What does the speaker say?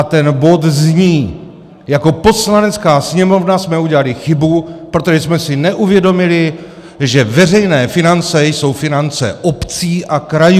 A ten bod zní: Jako Poslanecká sněmovna jsme udělali chybu, protože jsme si neuvědomili, že veřejné finance jsou finance obcí a krajů.